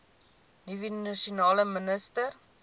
nuwe nasionale minister